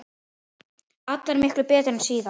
Allar miklu betri en síðast!